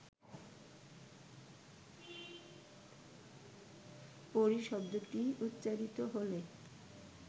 পরী শব্দটি উচ্চারিত হলে